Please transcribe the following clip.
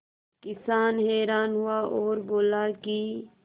किसान हैरान हुआ और बोला कि